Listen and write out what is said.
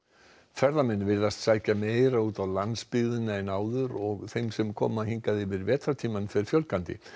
ferðamenn virðast sækja meira út á landsbyggðina en áður og þeim sem koma hingað yfir vetrartímann fer fjölgandi